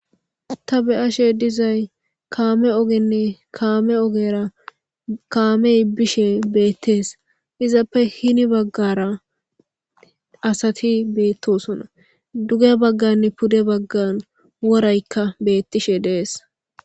ta be7ashe dizay kaame ogenni kaame ogera kaamey bishe beettees izappe hini baggara asati beettosona duge bagganne pude baggan woraykka beettishe dees